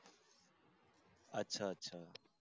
अच्छा अच्छा